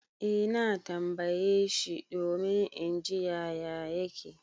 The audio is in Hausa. Eh na tambaye shi domin in ji yaya yake.